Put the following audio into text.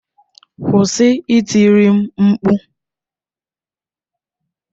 Kwụsị itiri m mkpu!